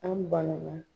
An banana